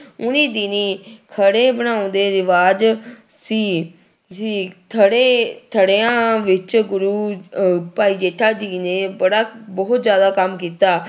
ਓਨੀ ਦਿਨੀ ਥੜੇ ਬਣਾਉਣ ਦੇ ਰਿਵਾਜ਼ ਸੀ ਸੀ, ਥੜੇ ਥੜਿਆਂ ਵਿੱਚ ਗੁਰੂ ਅਹ ਭਾਈ ਜੇਠਾ ਜੀ ਨੇ ਬੜਾ ਬਹੁ ਜ਼ਿਆਦਾ ਕੰਮ ਕੀਤਾ।